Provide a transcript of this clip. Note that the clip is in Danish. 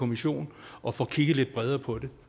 kommission og får kigget lidt bredere på det